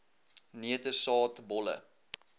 neute saad bolle